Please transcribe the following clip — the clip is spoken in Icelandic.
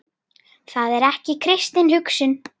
Það er ekki kristin hugsun.